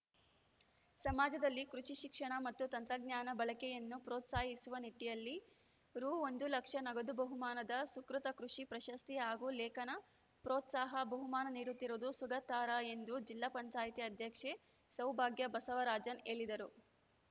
ಸಮಾಜದಲ್ಲಿ ಕೃಷಿ ಶಿಕ್ಷಣ ಮತ್ತು ತಂತ್ರಜ್ಞಾನ ಬಳಕೆಯನ್ನು ಪ್ರೋತ್ಸಾಹಿಸುವ ನಿಟ್ಟಿನಲ್ಲಿ ರು ಒಂದು ಲಕ್ಷ ನಗದು ಬಹುಮಾನದ ಸುಕೃತ ಕೃಷಿ ಪ್ರಶಸ್ತಿ ಹಾಗೂ ಲೇಖನ ಪ್ರೋತ್ಸಾಹ ಬಹುಮಾನ ನೀಡುತ್ತಿರುವುದು ಸ್ವಾಗತಾರ್ಹ ಎಂದು ಜಿಲ್ಲಾ ಪಂಚಾಯತಿ ಅಧ್ಯಕ್ಷೆ ಸೌಭಾಗ್ಯ ಬಸವರಾಜನ್‌ ಹೇಳಿದರು